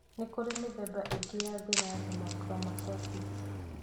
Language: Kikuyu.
Nĩkũrĩ mĩthemba ĩngĩ ya thĩna wa hemochromatosis.